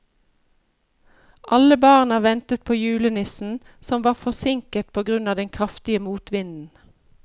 Alle barna ventet på julenissen, som var forsinket på grunn av den kraftige motvinden.